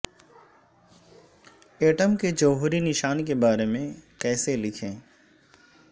atom کے جوہری نشان کے بارے میں کیسے لکھیں